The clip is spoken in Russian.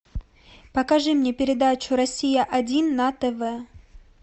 покажи мне передачу россия один на тв